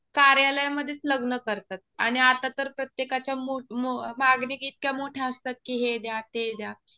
कार्यालयामध्येच लग्न करतात. आणि आता तर प्रत्येकाच्या मागणी इतक्या मोठ्या असतात कि हे द्या ते द्या.